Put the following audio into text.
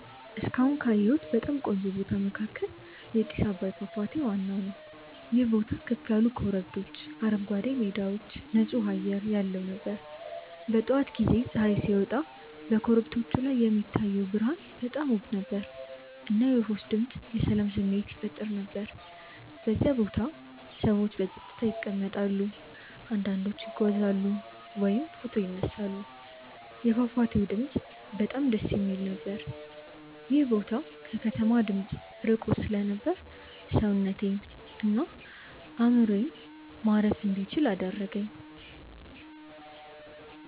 እስካሁን ካየሁት በጣም ቆንጆ ቦታ መካከል የጥስ አባይ ፏፏቴ ነበር። ይህ ቦታ ከፍ ያሉ ኮረብቶች፣ አረንጓዴ ሜዳዎች እና ጥሩ ንፁህ አየር ያለው ነበር። በጠዋት ጊዜ ፀሐይ ሲወጣ በኮረብቶቹ ላይ የሚታየው ብርሃን በጣም ውብ ነበር፣ እና የወፎች ድምፅ የሰላም ስሜት ይፈጥር ነበር። በዚያ ቦታ ሰዎች በጸጥታ ይቀመጣሉ፣ አንዳንዶቹ ይጓዛሉ ወይም ፎቶ ይነሳሉ። የፏፏቴው ድምፅ በጣም ደስ የሚል ነበር። ይህ ቦታ ከከተማ ድምፅ ርቆ ስለነበር ሰውነቴን እና አእምሮዬን ማረፍ እንዲችል አደረገኝ።